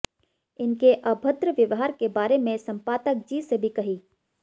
इनके अभद्र व्यवहार के बारे में संपादक जी से भी कही